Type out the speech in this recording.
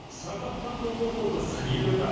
сағат таңғы он отыз елорда